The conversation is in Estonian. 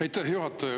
Aitäh, juhataja!